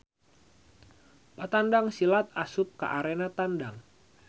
Patandang silat asup ka arena tandang.